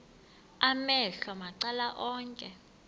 amehlo macala onke